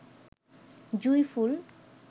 জুঁই ফুল